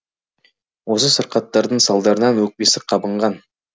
осы сырқаттардың салдарынан өкпесі қабынған